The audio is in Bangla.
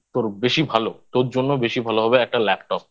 তোর বেশি ভালো তোর জন্য বেশি ভালো হবে একটা Laptop